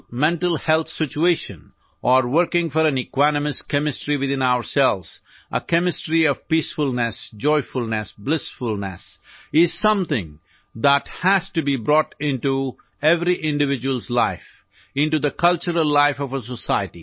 اندرونی دماغی صحت کی صورتحال کے لیے کام کرنا یا اپنے اندر ایک مساوی کیمسٹری کے لیے کام کرنا، سکون، مسرت، مسرت کی کیمسٹری ایسی چیز ہے جسے ہر فرد کی زندگی میں لانا ہے